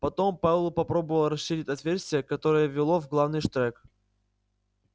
потом пауэлл попробовал расширить отверстие которое вело в главный штрек